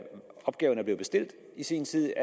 opgaverne blev bestilt i sin tid